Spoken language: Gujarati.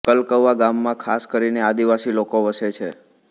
કલકવા ગામમાં ખાસ કરીને આદિવાસી લોકો વસે છે